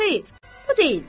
Xeyr, bu deyildi.